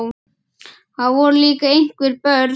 Það voru líka einhver börn.